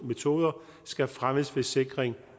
metoder skal fremmes ved sikring